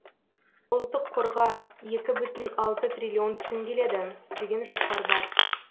ұлттық қорға екі бүтін алты триллион түсім келеді деген жоспар бар